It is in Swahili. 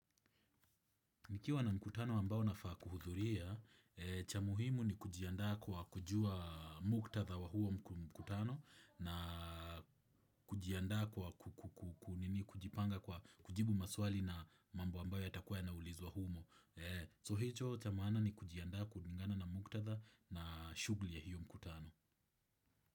Nikiwa na mkutano ambao nafaa kuhudhuria, cha muhimu ni kujianda kwa kujua muktatha wa huo mkutano na kujianda kwa kujipanga kujibu maswali na mambo ambao ya takuwa ya naulizwa humo. So hicho cha maana ni kujianda kulingana na muktatha na shughul ya hiyo mkutano.